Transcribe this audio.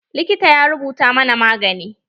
Likitan ya rubuta mana magani.